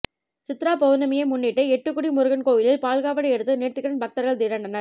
சித்ரா பவுர்ணமியை முன்னிட்டு எட்டுக்குடி முருகன் கோயிலில் பால்காவடி எடுத்து நேர்த்திகடன் பக்தர்கள் திரண்டனர்